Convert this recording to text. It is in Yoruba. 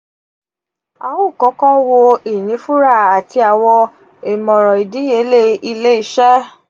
a o kọkọ wo inifura ati awọn imọran idiyele ile-iṣẹ.